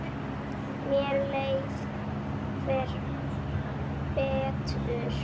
Mér leið hvergi betur.